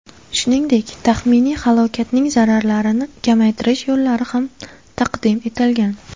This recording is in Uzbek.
Shuningdek, taxminiy halokatning zararlarini kamaytirish yo‘llari ham taqdim etilgan.